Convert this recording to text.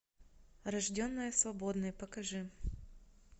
рожденная свободной покажи